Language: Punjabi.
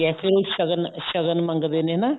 ਏ ਫੇਰ ਉਹ ਸ਼ਗਨ ਸ਼ਗਨ ਮੰਗਦੇ ਨੇ ਹਨਾ